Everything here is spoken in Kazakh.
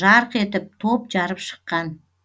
жарқ етіп топ жарып шыққан